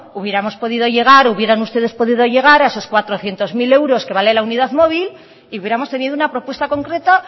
hubiéramos podido llegar hubieran ustedes podido llegar a esos cuatrocientos mil euros que vale la unidad móvil y hubiéramos tenido una propuesta concreta